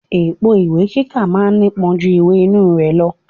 Èpo ìwé kíkà ma ń nípọn ju ìwè inú rẹ̀ lọ.